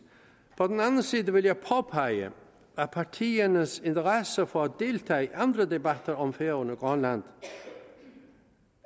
vil jeg påpege at partiernes interesse for at deltage i andre debatter om færøerne og grønland